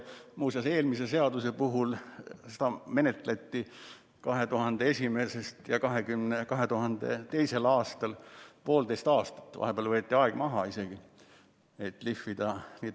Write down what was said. Muuseas, eelmist seadust menetleti 2001. ja 2002. aastal, poolteist aastat, vahepeal võeti aeg maha isegi, et eelnõu lihvida.